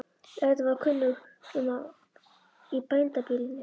Auðvitað var kunnugt um að í bændabýlinu